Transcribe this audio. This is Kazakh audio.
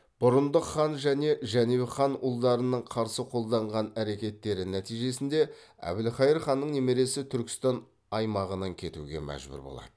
бұрындық хан және жәнібек хан ұлдарының қарсы қолданған әрекеттері нәтижесінде әбілқайыр ханның немересі түркістан аймағынан кетуге мәжбүр болады